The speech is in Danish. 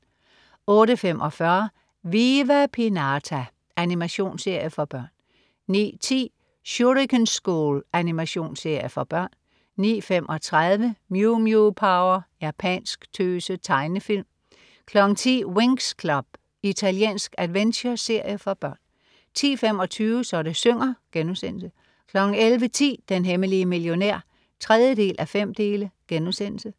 08.45 Viva Pinata. Animationsserie for børn 09.10 Shuriken School. Animationsserie for børn 09.35 Mew Mew Power. Japansk tøse-tegnefilm 10.00 Winx Club. Italiensk adventureserie for børn 10.25 Så det synger* 11.10 Den hemmelige millionær 3:5*